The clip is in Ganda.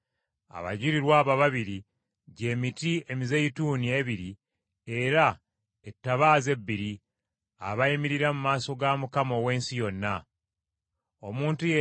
Abajulirwa abo ababiri gy’emiti emizeeyituuni ebiri era ebikondo by’ettaala ebibiri, abayimirira mu maaso ga Mukama ow’ensi yonna.